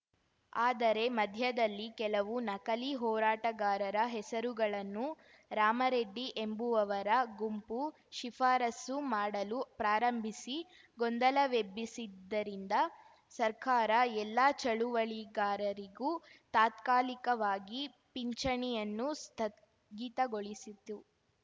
ಆದರೆ ಮಧ್ಯದಲ್ಲಿ ಕೆಲವು ನಕಲಿ ಹೋರಾಟಗಾರರ ಹೆಸರುಗಳನ್ನು ರಾಮ ರೆಡ್ಡಿ ಎಂಬುವವರ ಗುಂಪು ಶಿಫಾರಸ್ಸು ಮಾಡಲು ಪ್ರಾರಂಭಿಸಿ ಗೊಂದಲವೆಬ್ಬಿಸಿದ್ದರಿಂದ ಸರ್ಕಾರ ಎಲ್ಲಾ ಚಳುವಳಿಗಾರರಿಗೂ ತಾತ್ಕಾಲಿಕವಾಗಿ ಪಿಂಚಣಿಯನ್ನು ಸ್ಥಗಿತಗೊಳಿಸಿತು